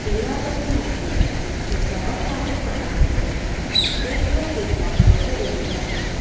રંગનુ stage સજાવટ માટે બનાવેલો છે સ્ટેજ પર કેટલાક લોકો ઊભા છે.